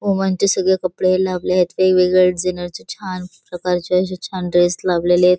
Woman चे सगळे कपडे लागलेत वेगवेगळ्या डीजायनर चे छान प्रकारचे अशे छान ड्रेस लावलेलेत.